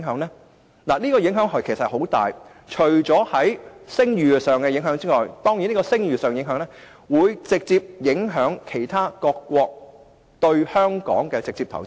其實，會有很大影響，包括會令聲譽受損，從而直接影響其他各國對香港的投資。